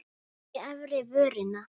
Bít í efri vörina.